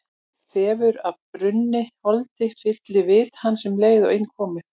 Þefur af brunnu holdi fyllti vit hans um leið og inn kom.